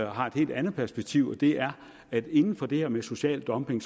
har et helt andet perspektiv og det er at inden for det her med social dumping